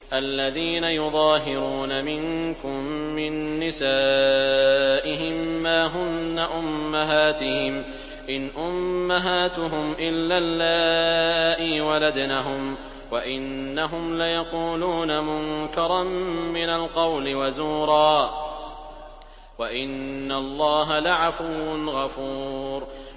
الَّذِينَ يُظَاهِرُونَ مِنكُم مِّن نِّسَائِهِم مَّا هُنَّ أُمَّهَاتِهِمْ ۖ إِنْ أُمَّهَاتُهُمْ إِلَّا اللَّائِي وَلَدْنَهُمْ ۚ وَإِنَّهُمْ لَيَقُولُونَ مُنكَرًا مِّنَ الْقَوْلِ وَزُورًا ۚ وَإِنَّ اللَّهَ لَعَفُوٌّ غَفُورٌ